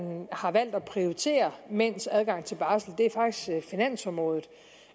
har valgt at prioritere mænds adgang til barsel er faktisk finansområdet